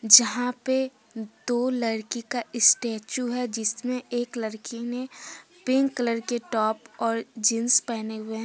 जहां पे दो लड़की का स्टेचू है जिसमें एक लड़की ने पिंक कलर के टॉप और जींस पहने हुए ह--